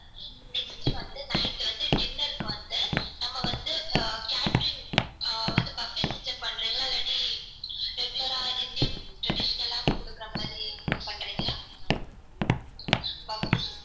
next வந்து night வந்து dinner க்கு வந்து நம்ம வந்து catering ஆஹ் வந்து puffet system பண்றிங்களா இல்லாட்டி regular ஆ indian traditional ஆ குடுக்குற மாதிரி பண்றிங்களா puffey வா